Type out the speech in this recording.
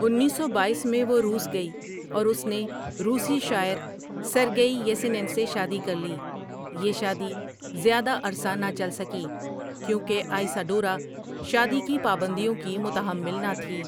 انیس سو بایس میں وہ روس گئی اور اس نے روسی شاعر سرگیئی یسینن سے شادی کر لی یہ شادی زیادہ عرصہ نہ چل سکی کیونکہ آئسا ڈورا شادی کی پابندیوں کی متحمل نہ تھی ۔